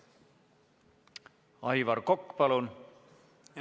Aivar Kokk, palun!